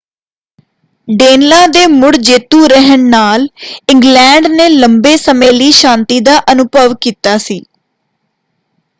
ਡੇਨਲਾਅ ਦੇ ਮੁੜ ਜੇਤੂ ਰਹਿਣ ਨਾਲ ਇੰਗਲੈਂਡ ਨੇ ਲੰਬੇ ਸਮੇਂ ਲਈ ਸ਼ਾਂਤੀ ਦਾ ਅਨੁਭਵ ਕੀਤਾ ਸੀ।